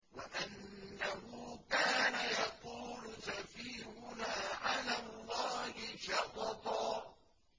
وَأَنَّهُ كَانَ يَقُولُ سَفِيهُنَا عَلَى اللَّهِ شَطَطًا